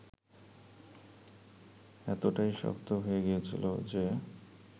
এতটাই শক্ত হয়ে গিয়েছিল যে